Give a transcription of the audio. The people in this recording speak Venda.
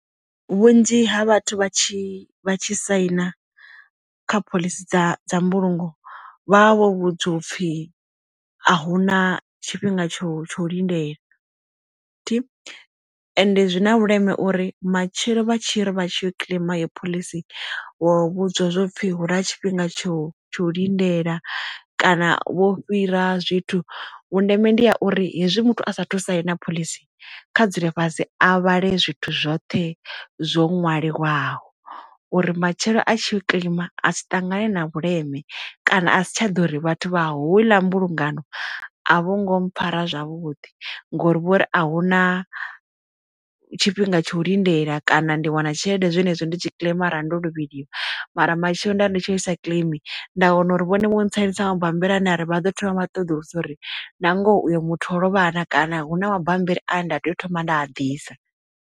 Vhunzhi ha vhathu vha tshi vha tshi saina kha phoḽisi dza dza mbulungo vha vha vho vhudzwa upfhi a hu na tshifhinga tsho tsho lindele thi. And zwi na vhuleme uri matshelo vha tshi ri vha tshi yo kileima yo phoḽisi wo vhudzwa zwo pfhi hu na tshifhinga tsho tsho lindela kana vho fhira zwithu vhundeme ndi ya uri hezwi muthu a sa thusaina phoḽisi kha dzule fhasi a vhale zwithu zwoṱhe zwo ṅwaliwaho uri matshelo a tshi kileima a sa ṱangane na vhuleme kana a si tsha ḓo uri vhathu vha houḽa mbulungano a vho ngo mpfara zwavhuḓi, ngori vhori a hu na tshifhinga tsha u lindela kana ndi wana tshelede zwenezwo ndi tshi kiḽeima ara ndo lovheliwa mara matshelo nda ndi tsho isa kiḽeimi nda wana uri vhone vho tsainisa mabammbiri ana ri vha ḓo thoma vha ṱoḓulusa uri na ngoho uyo muthu ḽo vhana kana hu na mabambiri ane nda tea u thoma nda a ḓisa.